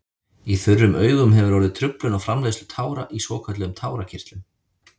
Í þurrum augum hefur orðið truflun á framleiðslu tára í svokölluðum tárakirtlum.